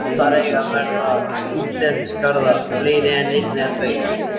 Þar eiga að verða stúdentagarðar, fleiri en einn eða tveir.